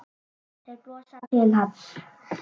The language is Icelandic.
Þeir brosa til hans.